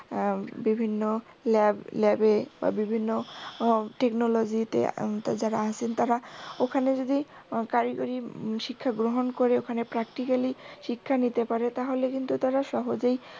আহ বিভিন্ন ল্যাবে বা বিভিন্ন আহ technology তে উম যারা আছেন তারা ওখানে যদি কারিগই উম শিক্ষা গ্রহন করে ওখানে practically শিক্ষা নিতে পারে তাহলে কিন্তু তারা সহজে